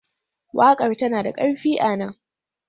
Waƙar tana da ƙarfi a nan.